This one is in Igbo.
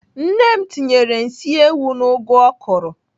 Nne m tinyere nsị ewu n'ụgụ ọ kụrụ